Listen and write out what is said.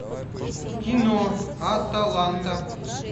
кино аталанта